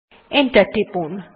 enter press টিপুন